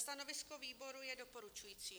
Stanovisko výboru je doporučující.